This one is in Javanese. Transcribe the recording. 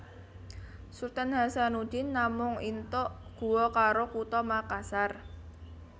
Sultan Hasanudin namung intok Guo karo Kutha Makassar